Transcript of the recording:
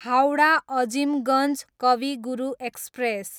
Howrah, Azimganj Kavi Guru express